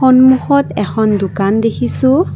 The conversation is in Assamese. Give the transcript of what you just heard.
সন্মুখত এখন দোকান দেখিছোঁ।